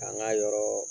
K'an ka yɔrɔɔ